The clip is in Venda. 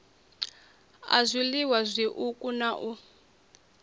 a zwiliwa zwiuku na u